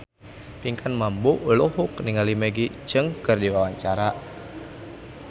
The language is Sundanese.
Pinkan Mambo olohok ningali Maggie Cheung keur diwawancara